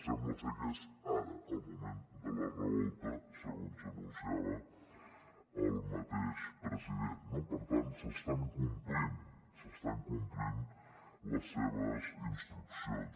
sembla ser que és ara el moment de la revolta segons anunciava el mateix president no per tant s’estan complint s’estan complint les seves instruccions